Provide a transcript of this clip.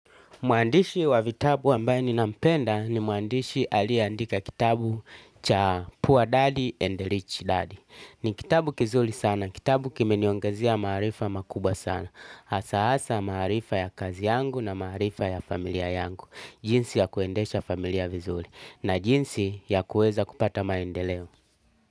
Mwandishi wa vitabu ambaye ninampenda ni mwandishi aliyeandika kitabu cha Poor Dad and Rich Dad. Ni kitabu kizuri sana, kitabu kimeniongezea maarifa makubwa sana. Hasa hasa maarifa ya kazi yangu na maarifa ya familia yangu. Jinsi ya kuendesha familia vizuri na jinsi ya kuweza kupata maendeleo.